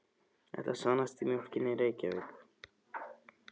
Þetta sannast á mjólkinni í Reykjavík.